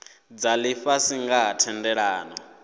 dza lifhasi nga ha thendelano